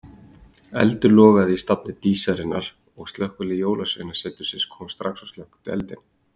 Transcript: Eldur logaði í stafni Dísarinnar og slökkvilið Jólasveinasetursins kom strax og slökkti eldinn.